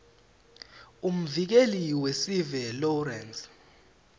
umvikeli wesive lawrence